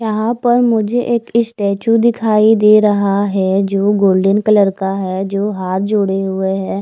यहाँ पर मुझे एक इस्टेच्यू दिखाई दे रहा है जो गोल्डन कलर का है जो हाथ जोड़े हुए है।